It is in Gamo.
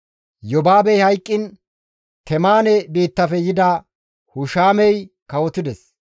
Yobaabey hayqqiin Temaane biittafe yida Hushamey kawotides.